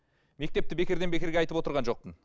мектепті бекерден бекерге айтып отырған жоқпын